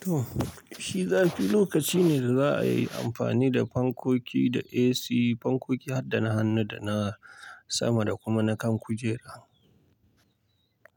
To, shi zafi lokaci ne da za'a yi amfani da fankoki da AC, fankoki har dana hannu, da na sama da kuma na kan kujera.